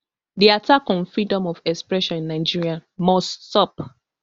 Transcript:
di attack on freedom of expression in nigeria must stop